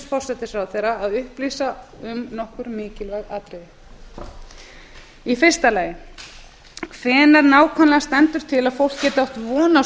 forsætisráðherra að upplýsa um nokkur mikilvæg atriði fyrsta hvenær nákvæmlega stendur til að fólk geti átt von á